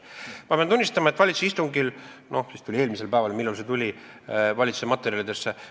Ma pean tunnistama, et vist eelmisel päeval enne valitsuse istungit – või millal see oli – tuli see projekt valitsuse materjalide hulka.